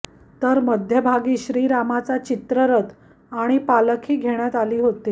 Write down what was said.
तर मध्यभागी श्रीरामाचा चित्ररथ आणि पालखी घेण्यात आली होती